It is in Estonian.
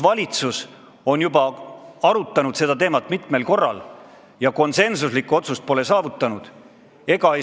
Valitsus on seda teemat juba mitu korda arutanud ja pole konsensuslikku otsust saavutanud.